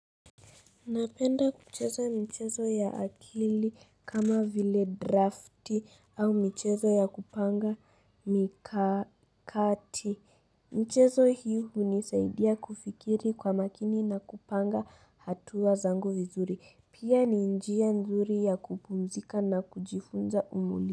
Napenda kucheza michezo ya akili kama vile drafti au michezo ya kupanga mikakati. Mchezo hii hunisaidia kufikiri kwa makini na kupanga hatua zangu vizuri. Pia ni njia nzuri ya kupumzika na kujifunza umuli.